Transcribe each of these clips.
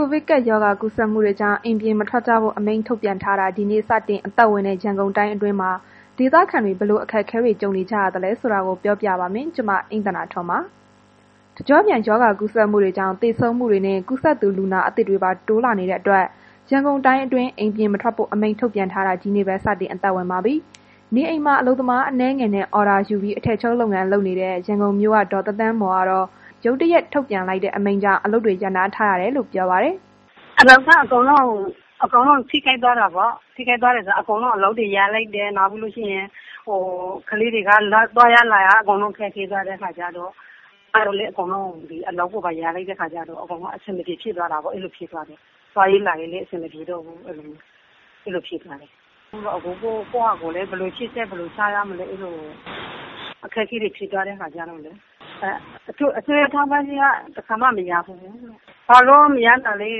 ိုဗစ်ကပ်ရောဂါ ကူးစက်မှုတွေကြောင့် အိမ်ပြင်မထွက်ကြဖို့ အမိန့်ထုတ်ပြန်ထားတာ တနင်္လာနေ့က စတင်အသက်ဝင်တဲ့ ရန်ကုန်တိုင်းအတွင်း ဒေသခံတွေ ဘယ်လိုအခက်အခဲတွေ ကြုံနေရသလဲ။ စုံစမ်းမေးမြန်းထားတဲ့ ဗွီအိုအေ သတင်းထောက် အိမ့်သန္တာထွန်းက ပြောပြမှာပါ။ တကျော့ပြန် ရောဂါကူးစက်မှုတွေကြောင့် သေဆုံးမှုတွေနဲ့ ကူးစက်သူ လူနာသစ်တွေပါ တိုးလာနေတာကြောင့် ရန်ကုန်တိုင်းအတွင်း အိမ်ပြင်မထွက်ဖို့ အမိန့်ထုတ်ထားတာ ဒီနေ့ပဲ စတင်အသက်ဝင်လာခဲ့ပြီ။ နေအိမ်မှာ အလုပ်သမားအနည်းငယ်နဲ့ အော်ဒါယူပြီး အထည်ချုပ် လုပ်ငန်းလုပ်နေတဲ့ ရန်ကုန်မြို့ခံ ဒေါ်သန်းသန်းမော်ကတော့ ရုတ်တရက် ထုတ်ပြန်လိုက်တဲ့ အမိန့်ကြောင့် အလုပ်တွေ ရပ်ထားလိုက်ရတယ်လို့ ပြောပါတယ်။ “လုပ်ငန်းက အကုန်လုံးထိခိုက်သွားတာပေါ့။ ထိခိုက်တာက လုပ်ငန်းတွေ အကုန်လုံးရပ်လိုက်တယ်၊ နောက်ပြီး ကလေးတွေက သွားရလာရ အကုန်ခက်ခဲသွားတဲ့ခါကျတော့ အလုပ်ကိုလည်း အကုန်လုံးရပ်လိုက်ရတော့တာပေါ့။ သွားရေးလာရေးလည်း အဆင်မပြေတာ့ဘူးဆိုတော့ အဲ့လိုဖြစ်သွားတယ်။ အခုကတော့ ရှေ့ဆက်ဘယ်လိုလုပ်ရမလဲမသိဘူးဖြစ်နေတယ် ဒီလိ အခက်အခဲတွေဖြစ်သွားတဲ့ အခါကျတော့၊ အစိုးရထောက်ပံ့ကြေးကလည်း တစ်ခါမှ မရဖူးဘူး၊ ဘာလို့မရတာလည်း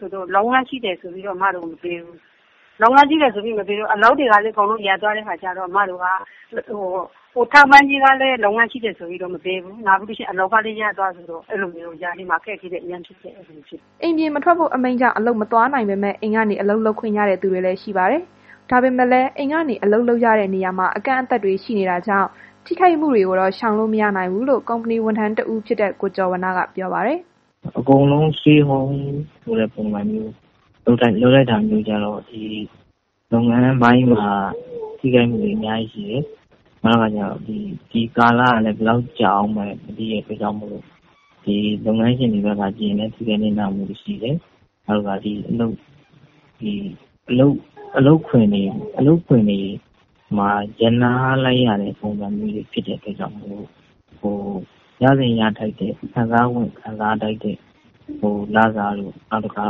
ဆိုတော့ လုပ်ငန်းရှိတယ်ဆိုပြီးတော့ အစ်မတို့ကို မပေးဘူး။ အလုပ်ငန်းတွေကလည်း အကုန်လုံးရပ်သွားတဲ့ အခါကျတော့ အစ်မတို့က အခက်အခဲရှိတယ်။” အိမ်ပြင်မထွက်ဖို့ အမိန့်ကြောင့် အလုပ်မသွားနိုင်ပေမဲ့ အိမ်ကနေ အလုပ်လုပ်ခွင့်ရတဲ့သူတွေလည်း ရှိပါတယ်။ ဒါပေမဲ့လည်း အိမ်ကနေ အလုပ်လုပ်ရတဲ့ နေရာမှာ အကန့်အသတ်တွေ ရှိတာကြောင့် ထိခိုက်မှုတွေကိုတော့ ရှောင်လို့မရနိုင်ဘူးလို့လည်း ကုမ္ပဏီဝန်ထမ်းတဦးဖြစ်တဲ့ ကိုကျော်ဝဏ္ဏက ပြောပါတယ်။ “အကုန်လုံး Stay Home ဆိုပြီးလုပ်လိုက်တာမျိုးကျတော့ လုပ်ငန်းပိုင်းမှာ ထိခိုက်မှုတွေ အများကြီးရှိတယ်။ ဒီကာလကလည်း ဘယ်လောက်ကြာမလဲမသိနိုင်ဘူးဆိုတော့၊ လုပ်ငန်းရှင်တွေ ဖက်ကနေဆိုရင်လည်း ထိခိုက်နစ်နာမှုတွေရှိတယ်၊ နောက်အလုပ်ခွင်တွေပါ ရပ်နားလိုက်ရတဲ့ အတွက်ကြောင့်မို့လို့ ရသင့်ရထိုက်တဲ့ ခံစားခွင့်တို့ လစာတို့၊ နောက်တစ်ခါ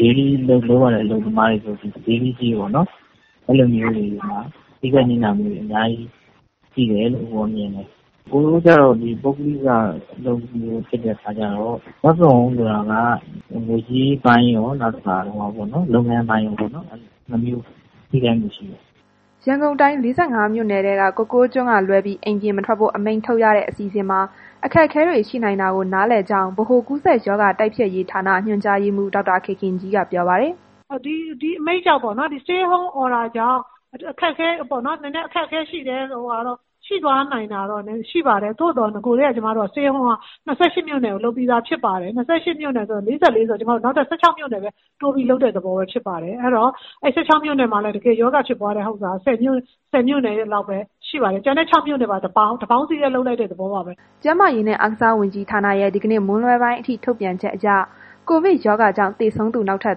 Daily လုပ်ရတဲ့ အလုပ်သမားတွေဆိုရင် Daily ကြေးပေါ့နှော်။ အဲ့လိုမျိုးထိခိုက်နစ်နာမှုတွေအများကြီး ရှိတယ်။ အစ်ကိုတို့ကျတော့ ပုဂ္ဂလိက အလုပ်ဖြစ်နေတဲ့ အတွက်ကြောင့်မို့လို့ Work From Home ဆိုတာက ငွေးကြေးပိုင်းရော နောက်တစ်ခါ ငွေကြေးပိုင်းရော ထိခိုက်မှုရှိတာပေါ့။” ရန်ကုန်တိုင်း ၄၅ မြို့နယ်ထဲက ကိုကိုးကျွန်းကလွဲပြီး အိမ်ပြင်မထွက်ဖို့ အမိန့်ထုတ်ရတဲ့ အစီအစဉ်မှာ အခက်အခဲတွေ ရှိနိုင်တာကို နားလည်ကြောင်းလည်း ဗဟိုကူးစက်ရောဂါတိုက်ဖျက်ရေးဌာန ညွှန်ကြားရေးမှုး ဒေါက်တာခင်ခင်ကြီးက ပြောပါတယ်။ “ဒီအမိန့်ကြောင့်ပေါ့နှော်၊ ဒီ Stay At Home Order ကြောင့် နည်းနည်းအခက်အခဲရှိတယ်ဆို တာတော့ ဖြစ်သွားနိုင်တာတော့ ရှိပါတယ်၊ ဒါပေမယ့် ကျွန်မတို့က နဂိုကတည်းက Stay At Home က ၂၈ မြို့နယ်ကို လုပ်ပြီးသားဖြစ်ပါတယ်။ ၂၈ မြို့နယ်၊၄၄ မြို့နယ်ရှိတာဆိုတော့ နောက် ၁၆ မြို့နယ်လောက်ပဲ တိုးပြီးသဘောပဲဖြစ်ပါတယ်။ အဲ့တော့ အဲ့ဒီ ၁၆ မြို့နယ်မှာလည်း တကယ်ရောဂါဖြစ်ပွားတဲ့မြို့နယ်က ၁၀ မြို့နယ်လောက်ပဲရှိပါတယ်။ ကျန်တဲ့ ၆ မြို့နယ်ကိုပါ တပေါင်းတစ်စည်းတည်းလုပ်လိုက်တဲ့ သဘောပါ။” ကျန်းမာရေးနဲ့ အားကစားဝန်ကြီးဌာနရဲ့ ဒီနေ့မွန်းလွဲပိုင်းအထိ ထုတ်ပြန်ချက်အရ ကိုဗစ်ရောဂါကြောင့် သေဆုံးသူ နောက်ထပ်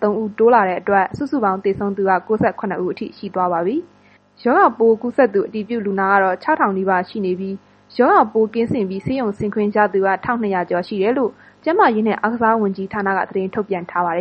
၃ ဦး တိုးလာတဲ့အတွက် စုစုပေါင်း သေဆုံးသူ ၉၇ ဦးအထိ ရှိသွားပါပြီ။ ရောဂါပိုးကူးစက်သူ အတည်ပြုလူနာကတော့ ၆၀၀၀ နီးပါးရှိနေပြီး၊ ရောဂါပိုး ကင်းစင်ပြီး ဆေးရုံက ဆင်းခွင့်ရသူကတော့ ၁,၂၀၀ ကျော် ရှိတယ်လို့လည်း ကျန်းမာရေးဝန်ကြီးဌာနက သတင်းထုတ်ပြန်ထားပါတယ်